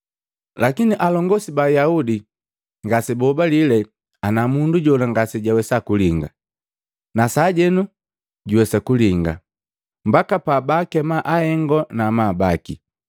Lakini alongosi ba Ayaudi ngasebahobalile ana mundu jola ngasejawesa kulinga, nasajenu juwesa kulinga, mbaka pabaakema ahengo na amabu baki,